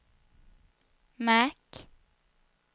märk